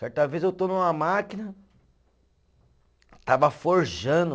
Certa vez eu estou numa máquina, estava forjando